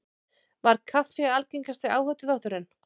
Var kaffi algengasti áhættuþátturinn